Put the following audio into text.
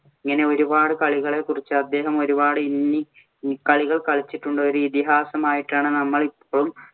ഇങ്ങനെ ഒരു പാട് കളികളെ കുറിച്ച് അദ്ദേഹം ഒരു പാട് ഇന്നി കളികള്‍ കളിച്ചിട്ടുണ്ട്. ഒരു ഇതിഹാസമായിട്ടാണ് നമ്മള്‍ ഇപ്പോഴും